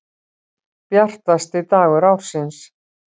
Bjartasti dagur ársins.